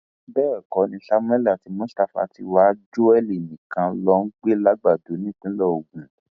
bẹẹ ẹkọ ni samuel àti mustapha ti wa joel nìkan ló ń gbé làgbàdo nípínlẹ ogun